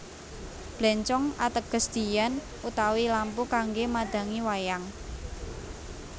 Bléncong ateges diyan utawi lampu kanggé madhangi wayang